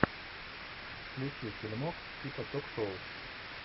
включи фильмок типа ток шоу